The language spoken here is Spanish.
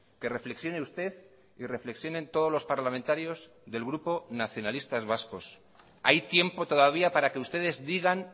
que reflexione usted y reflexionen todos los parlamentarios del grupo nacionalistas vascos hay tiempo todavía para que ustedes digan